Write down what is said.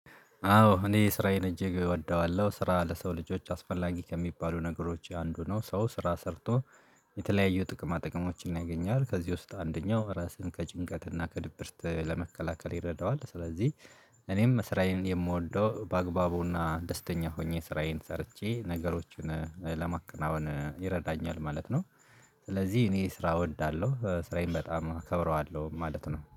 አዎ እኔ ስራዬን እጅግ እወደዋለሁ ስራ ለሰው ልጆች አስፈላጊ ከሚባሉ ነገሮች አንዱ ነው። ሰው ስራ ሰርቶ የተለያዩ ጥቅማ ጥቅሞችን አይገኝም። ከዚህ ውስጥ አንደኛው ራስን ከጭንቀትና ከድብርት ለመከላከል ይረዳዋል። ስለዚህ እኔም ስራዬን የምወደው በአግባቡና ደስተኛ ሆኜ ስራዬን ሰርቼ ነገሮችን ለማቀናወን ይረዳኛል ማለት ነው። ስለዚህ እኔ ስራ እወዳለሁ ስራዬን በጣም እከብረዋለሁ ማለት ነው